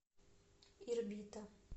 ирбита